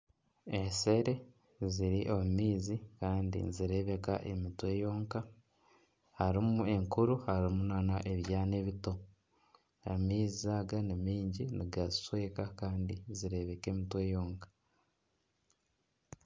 Enshere ziri omu maizi kandi nizireebeka emitwe yonka. Harimu enkuru harimu nana ebyana ebito amaizi aga ni maingi nigazishweka kandi zireebeka emitwe yonka.